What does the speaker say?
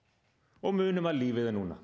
og munum að lífið er núna